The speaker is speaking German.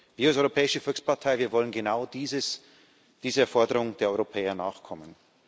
Wir als Europäische Volkspartei, wir wollen genau dieses dieser Forderung der Europäer nachkommen.